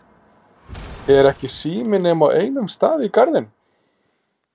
Er ekki sími nema á einum stað í Garðinum?